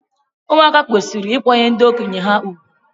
Ụmụaka kwesịrị ịkwanyere ndị okenye ha ùgwù.